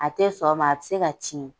A tɛ sɔn o ma a bɛ se ka tiɲɛ.